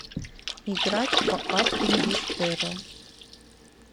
играть в апп инвестерро